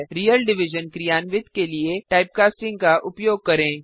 real division क्रियान्वित के लिए टाइपकास्टिंग का उपयोग करें